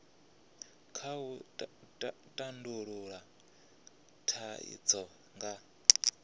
kha u tandulula thaidzo nga